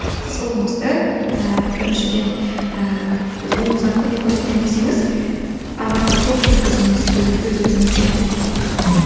сіз ұлыңызды ііі біріншіден ііі ұлыңызға көмек көрсетемін десеңіз ағартушылық жүргізіңіз өз өзіңізбен иә